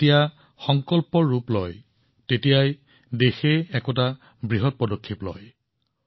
যেতিয়া সংকল্প সপোনতকৈ ডাঙৰ হয় তেতিয়া দেশখনে মহান পদক্ষেপ গ্ৰহণ কৰে